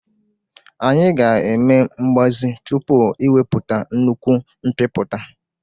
Anyị ga-eme mgbazi tupu iwepụta nnukwu mbipụta